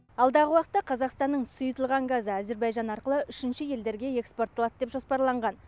алдағы уақытта қазақстанның сұйытылған газы әзербайжан арқылы үшінші елдерге экспортталады деп жоспарланған